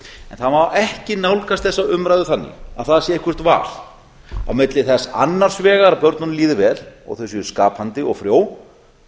en það má ekki nálgast þessa umræðu þannig að það sé eitthvert val á milli þess annars vegar að börnunum líði vel og þau séu skapandi og frjó